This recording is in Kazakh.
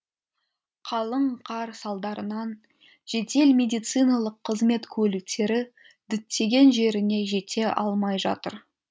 қалың қар салдарынан жедел медициналық қызмет көліктері діттеген жеріне жете алмай жатыр